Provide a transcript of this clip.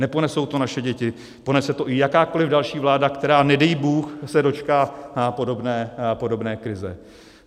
Neponesou to naše děti, ponese to i jakákoli další vláda, která nedej bůh se dočká podobné krize.